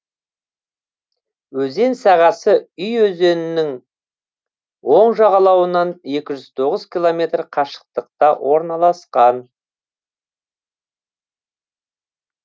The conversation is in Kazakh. өзен сағасы уй өзенінің оң жағалауынан екі жүз тоғыз километр қашықтықта орналасқан